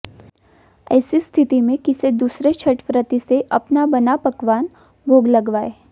ऐसी स्थिति में किसी दूसरे छठव्रती से अपना बना अपना पकवान भोग लगवाएं